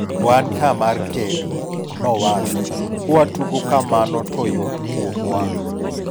Wan ka mar kedo'', nowacho .Kwa tugo kamano to yot kuomwa.